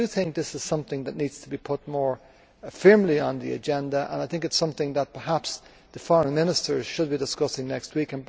This is something which needs to be put more firmly on the agenda, and I think it is something that perhaps the Foreign Ministers should be discussing next week.